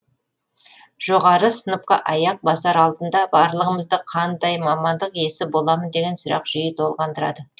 жоғары сыныпқа аяқ басар алдында барлығымызды қандай мамандық иесі боламын деген сұрақ жиі толғандырады